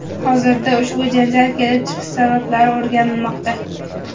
Hozirda ushbu janjal kelib chiqish sabablari o‘rganilmoqda.